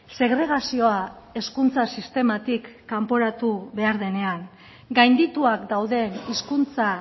segregazioa hezkuntza sistematik kanporatu behar denean gaindituak dauden hizkuntza